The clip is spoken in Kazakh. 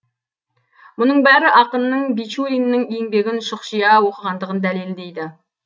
мұның бәрі ақынның бичуриннің еңбегін шұқшия оқығандығын дәлелдейді